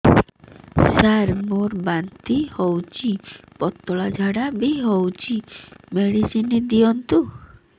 ସାର ମୋର ବାନ୍ତି ହଉଚି ପତଲା ଝାଡା ବି ହଉଚି ମେଡିସିନ ଦିଅନ୍ତୁ